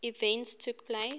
events took place